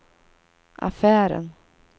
affären